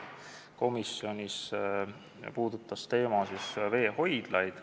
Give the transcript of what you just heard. Komisjonis puudutati veehoidlate teemat.